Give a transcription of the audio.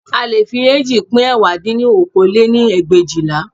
A leè fi eéjì pín ẹ̀wá dín ní okòó lé-ní ẹgbẹ̀éjìlá